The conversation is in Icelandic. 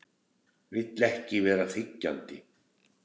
Vildi ekki vera þiggjandi.